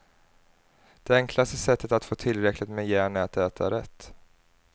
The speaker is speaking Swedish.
Det enklaste sättet att få tillräckligt med järn är att äta rätt.